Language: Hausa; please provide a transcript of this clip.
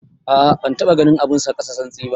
A'a ban taba ganin abun sa kasa santsi ba.